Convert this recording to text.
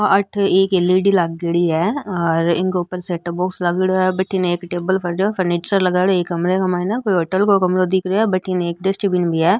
आ अठे एक एल.ई.डी. लागेड़ी है और इनक ऊपर सेटअप बॉक्स लागेड़ो है बटन एक टेबल परेडों है फनीचर लगाईडॉ एक कमरे क माइन ये कोई होटल का कमरों दिख रहे है बटने एक डस्टबिन भी है।